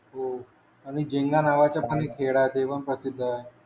हो आणि जेंगा नावाचा पण एक खेळ आहेत ते पण प्रसुध्द आहे